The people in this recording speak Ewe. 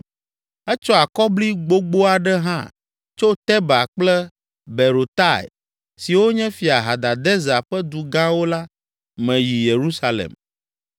Etsɔ akɔbli gbogbo aɖe hã tso Teba kple Berotai siwo nye Fia Hadadezer ƒe du gãwo la me yi Yerusalem.